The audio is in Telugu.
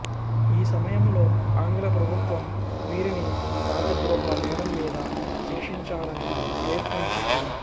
ఈ సమయంలో ఆంగ్లప్రభుత్వం వీరిని రాజద్రోహ నేరంమీద శిక్షించాలని ప్రయత్నించింది